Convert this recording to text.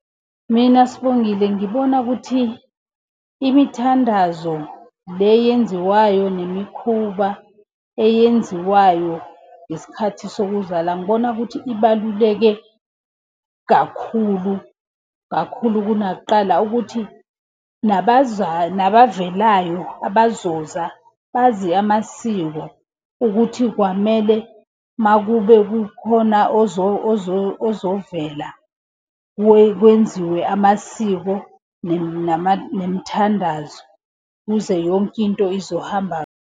Mina Sibongile ngibona ukuthi, imithandazo le eyenziwayo nemikhuba eyenziwayo ngesikhathi sokuzala ngibona ukuthi ibaluleke kakhulu, kakhulu kunakuqala. Ukuthi, nabavelayo abazoza bazi amasiko ukuthi kwamele makube kukhona ozovela kwenziwe amasiko nemithandazo ukuze yonke into izohamba.